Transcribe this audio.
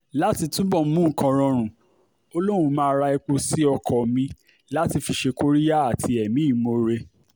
láti túbọ̀ mú nǹkan rọrùn ó lóun máa ra epo sí ọkọ mi láti fi ṣe kóríyá àti ẹ̀mí ìmoore